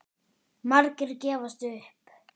Margir gefast upp.